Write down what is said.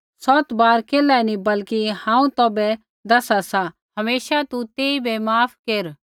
यीशुऐ बोलू सौत बार केल्ही नी बल्कि हांऊँ तौभै दैसा सा हमेशा तू तेइबै माफ केर